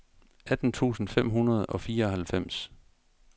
atten tusind fem hundrede og fireoghalvfems